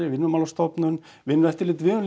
Vinnumálastofnun Vinnueftirlitið við höfum